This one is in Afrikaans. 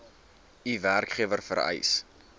u werkgewer vereis